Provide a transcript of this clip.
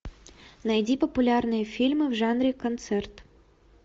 найди популярные фильмы в жанре концерт